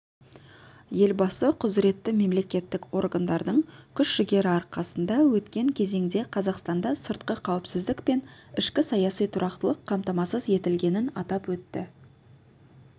елбасы құзыретті мемлекеттік органдардың күш-жігері арқасында өткен кезеңде қазақстанда сыртқы қауіпсіздік пен ішкі саяси тұрақтылық қамтамасыз етілгенін атап өтті